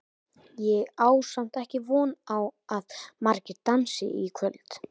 Ég á samt ekki von á að margir dansi í kvöld.